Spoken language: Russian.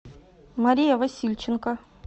мария васильченко